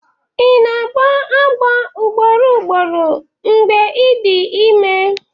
na-agbọ agbọ ugboro ugboro mgbe ị dị ime?